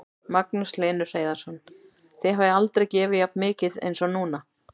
Magnús Hlynur Hreiðarsson: Þið hafið aldrei gefið jafn mikið eins og núna?